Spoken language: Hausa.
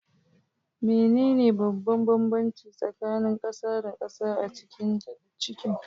Menene babban bambanci tsakanin gasa da gasa a cikin kicin?